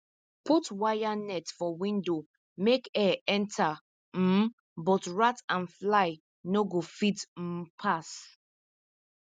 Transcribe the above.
put wire net for window make air enter um but rat and fly no go fit um pass